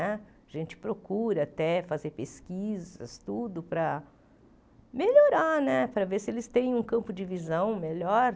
Né a agente procura até fazer pesquisas, tudo para melhorar, para ver se eles têm um campo de visão melhor.